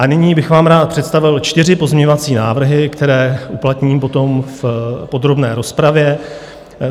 A nyní bych vám rád představil čtyři pozměňovací návrhy, které uplatním potom v podrobné rozpravě.